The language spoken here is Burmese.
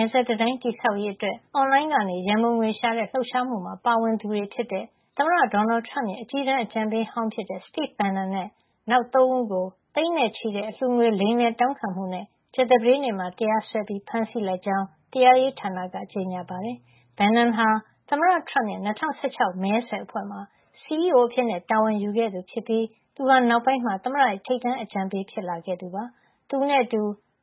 ယ်စပ်တံတိုင်း တည်ဆောက်ရေးအတွက် အွန်လိုင်းကနေ ရန်ပုံငွေရှာတဲ့ လှုပ်ရှားမှုမှာ ပါဝင်သူတွေ ဖြစ်တဲ့ သမ္မတ ဒေါ်နယ်ထရမ့်ရဲ့ အကြီးတန်းအကြံပေးဟောင်း ဖြစ်တဲ့ Steve Bannon နဲ့ နောက် ၃ ဦးကို သိန်းနဲ့ချီတဲ့ အလှူငွေ လိမ်လည်တောင်းခံမှုနဲ့ ကြာသပတေးနေ့မှာ တရားစွဲပြီး ဖမ်းဆီးလိုက်ကြောင်း တရားရေးဌာနက ကြေညာပါတယ်။ Bannon ဟာ သမ္မတထရမ့်ရဲ့ ၂၀၁၆ မဲဆွယ်အဖွဲ့မှာ CEO အဖြစ်တာဝန်ယူခဲ့သူ ဖြစ်ပြီး သူဟာနောက်ပိုင်းမှာ သမ္မတရဲ့ ထိပ်တန်းအကြံပေးဖြစ်လာခဲ့သူပါ။ သူနဲ့အတူ